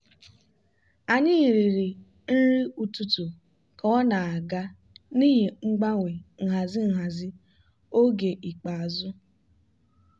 anyị riri nri ụtụtụ ka ọ na-aga n'ihi mgbanwe nhazi nhazi oge ikpeazụ.